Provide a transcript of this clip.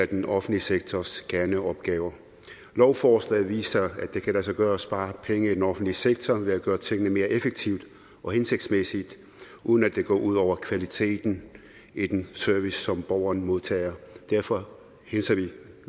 den offentlige sektors kerneopgaver lovforslaget viser at det kan lade sig gøre at spare penge i den offentlige sektor ved at gøre tingene mere effektivt og hensigtsmæssigt uden at det går ud over kvaliteten i den service som borgeren modtager derfor hilser vi